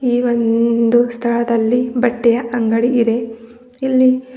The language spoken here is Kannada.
ಈ ಒಂದು ಸ್ಥಳದಲ್ಲಿ ಬಟ್ಟೆಯ ಅಂಗಡಿಯಿದೆ ಇಲ್ಲಿ--